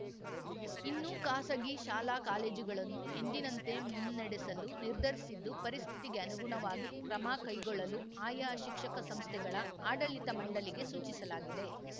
ಇನ್ನು ಖಾಸಗಿ ಶಾಲಾಕಾಲೇಜುಗಳನ್ನು ಎಂದಿನಂತೆ ಮುನ್ನಡೆಸಲು ನಿರ್ಧರಿಸಿದ್ದು ಪರಿಸ್ಥಿತಿಗೆ ಅನುಗುಣವಾಗಿ ಕ್ರಮ ಕೈಗೊಳ್ಳಲು ಆಯಾ ಶಿಕ್ಷಕ ಸಂಸ್ಥೆಗಳ ಆಡಳಿತ ಮಂಡಳಿಗೆ ಸೂಚಿಸಲಾಗಿದೆ